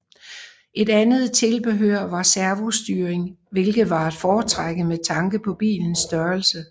Et andet tilbehør var servostyring hvilket var at foretrække med tanke på bilens størrelse